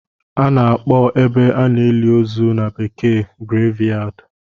Ana akpo ebe a na-eli ozu na bekee Graveyard